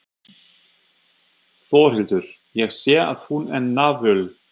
Þórhildur: Ég sé að hún er náföl?